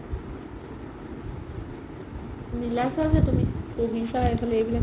মিলাইছা যে তুমি পঢ়িছা যে তুমি এইফালে এইবিলাক